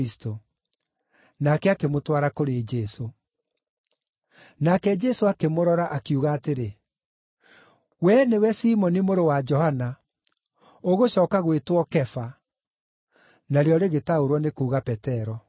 Nake akĩmũtwara kũrĩ Jesũ. Nake Jesũ akĩmũrora, akiuga atĩrĩ, “Wee nĩwe Simoni mũrũ wa Johana. Ũgũcooka gwĩtwo Kefa” (na rĩo rĩgĩtaũrwo nĩ kuuga Petero).